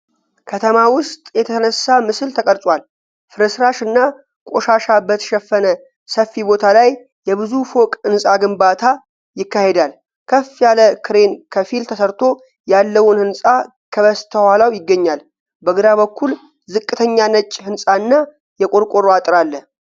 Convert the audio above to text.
ከተማ ውስጥ የተነሳ ምስል ተቀርጿል። ፍርስራሽ እና ቆሻሻ በተሸፈነ ሰፊ ቦታ ላይ የብዙ ፎቅ ሕንፃ ግንባታ ይካሄዳል። ከፍ ያለ ክሬን ከፊል ተሠርቶ ያለውን ሕንፃ ከበስተኋላው ይገኛል። በግራ በኩል ዝቅተኛ ነጭ ሕንፃና የቆርቆሮ አጥር አለ።